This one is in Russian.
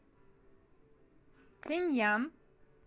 цинъян